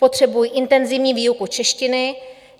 Potřebují intenzivní výuku češtiny.